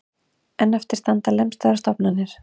En eftir standa lemstraðar stofnanir